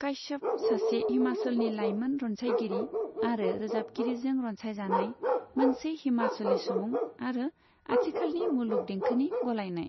काश्यप, सासे हिमाचलनि लाइमोन रनसायगिरि आरो रोजाबगिरिजों रनसायजानाय, मोनसे हिमाचली सुबुं आरो आथिखालनि मुलुग देंखोनि गलायनाय।